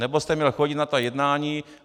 Nebo jste měl chodit na ta jednání.